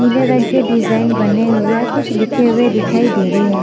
नीले रंग के डिजाइन बने हुए और कुछ लिखे हुए दिखाई दे रहे हैं।